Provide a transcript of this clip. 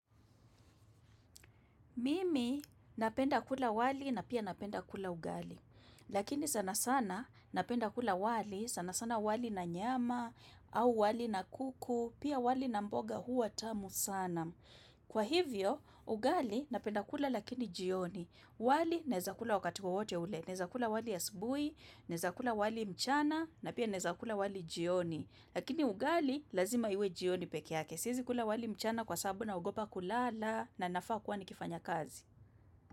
Mimi napenda kula wali na pia napenda kula ugali, lakini sana sana napenda kula wali, sana sana wali na nyama au wali na kuku, pia wali na mboga huwa tamu sana. Kwa hivyo, ugali napenda kula lakini jioni, wali naweza kula wakati wowote ule, naweza kula wali asubuhi, naweza kula wali mchana na pia naweza kula wali jioni. Lakini ugali lazima iwe jioni peke yake. Siwezi kula wali mchana, kwa sababu naogopa kulala na nafaa kuwa nikifanya kazi.